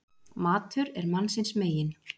Matur er mannsins megin.